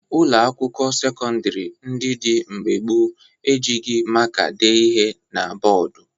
Ụlọakwụkwọ sekọndịrị ndị dị mgbe gboo e jighi maka dee ihe na bọọdụ